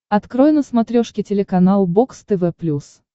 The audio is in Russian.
открой на смотрешке телеканал бокс тв плюс